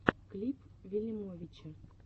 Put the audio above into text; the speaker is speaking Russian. клип вилимовича